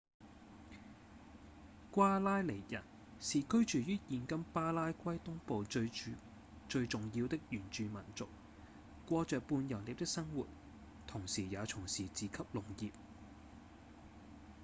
瓜拉尼人是居住於現今巴拉圭東部最重要的原住民族過著半游獵的生活同時也從事自給農業